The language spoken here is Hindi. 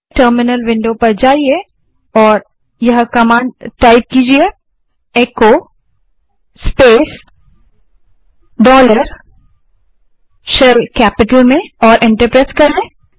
टर्मिनल विंडो पर जाइये और यह कमांड टाइप कीजिये echo space dollar shell capital में और एंटर प्रेस करें